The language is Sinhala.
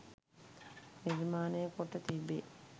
නිර්මාණය කොට තිබේ.